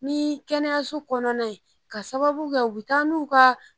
Ni kɛnɛyaso kɔnɔna ye k'a sababu kɛ u bɛ taa n'u ka